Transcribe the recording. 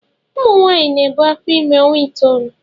Ụmụ nwanyị na ebu afọ ime ọnwa itoolu.